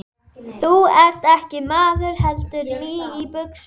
Stöndum við þá jafnfætis?